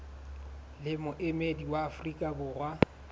le moemedi wa afrika borwa